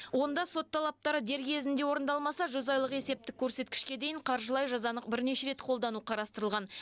онда сот талаптары дер кезінде орындалмаса жүз айлық есептік көрсеткішке дейін қаржылай жазаны бірнеше рет қолдану қарастырылған